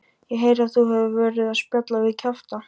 Ég heyri að þú hefur verið að spjalla við kjafta